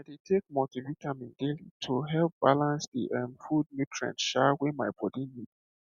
i dey take multivitamin daily to help balance the um food nutrients um wey my body need